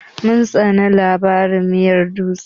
Mun tsane labarin miyar dutse.